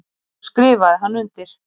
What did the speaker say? Svo skrifaði hann undir.